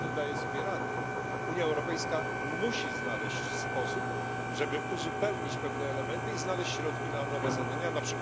nie daje sobie rady. Unia Europejska musi znaleźć sposób, żeby uzupełnić pewne elementy i znaleźć środki na nowe zadania, np.